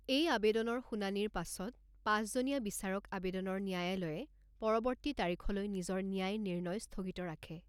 এই আবেদনৰ শুনানিৰ পাছত, পাঁচজনীয়া বিচাৰক আবেদনৰ ন্যায়ালয়ে পৰৱৰ্তী তাৰিখলৈ নিজৰ ন্যায় নিৰ্ণয় স্থগিত ৰাখে।